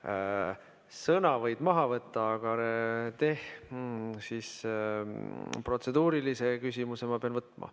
Sõna võib maha võtta, aga protseduurilise küsimuse ma pean võtma.